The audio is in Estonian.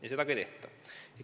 Ja seda ka ei püüta.